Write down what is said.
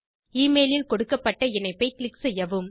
email இல் கொடுக்கப்பட்ட இணைப்பை க்ளிக் செய்யவும்